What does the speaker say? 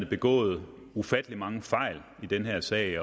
begået ufattelig mange fejl i den her sag